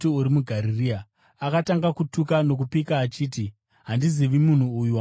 Akatanga kutuka nokupika achiti, “Handizivi munhu uyu wamunotaura nezvake.”